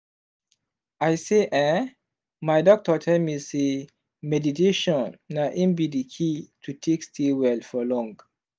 i say eeh my doctor tell me say meditation na in be the key to take stay well for long.